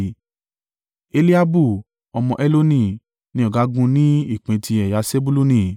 Eliabu ọmọ Heloni ni ọ̀gágun ni ìpín ti ẹ̀yà Sebuluni.